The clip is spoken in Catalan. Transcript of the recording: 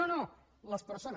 no no les persones